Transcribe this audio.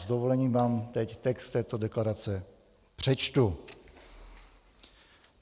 S dovolením vám teď text této deklarace přečtu: